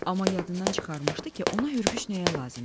Amma yadından çıxarmışdı ki, ona hürgüç nəyə lazım idi.